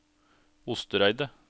Ostereidet